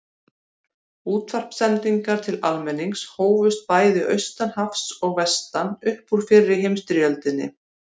Útvarpssendingar til almennings hófust bæði austan hafs og vestan upp úr fyrri heimsstyrjöldinni.